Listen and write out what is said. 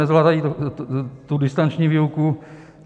Nezvládají tu distanční výuku.